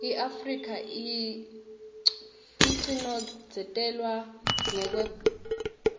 iafrika yacinozetelwa ngekweubala